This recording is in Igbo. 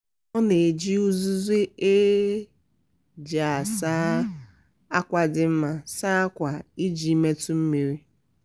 anyị na-elebara ngwa latrik anya mgbe niile iji hụ na ha na-arụ ọrụ nke ọma ma nọruo ogologo oge.